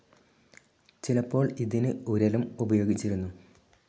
ചിലപ്പോൾ ഇതിനു ഉരലും ഉപയോഗിച്ചിരുന്നു.